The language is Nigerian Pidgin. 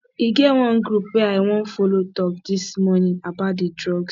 e get one group wey i wan follow talk dis morning about the drugs